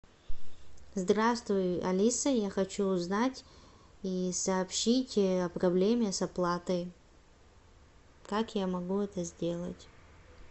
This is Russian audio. здравствуй алиса я хочу узнать и сообщить о проблеме с оплатой как я могу это сделать